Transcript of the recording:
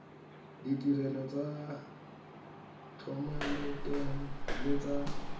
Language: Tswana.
ditirelo tsa thomeloteng le tsa